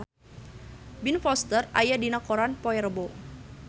Ben Foster aya dina koran poe Rebo